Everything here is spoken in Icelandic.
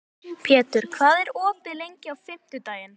Pétur, hvað er opið lengi á fimmtudaginn?